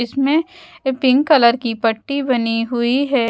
इसमें pink colour की पट्टी बनी हुई है।